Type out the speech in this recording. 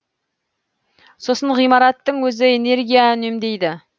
сосын ғимараттың өзі энергия үнемдейді